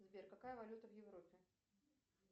сбер какая валюта в европе